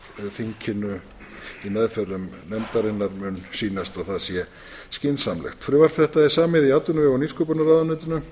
þinginu í meðförum nefndarinnar sýnist að það sé skynsamlegt frumvarp þetta er samið í atvinnuvega og nýsköpunarráðuneytinu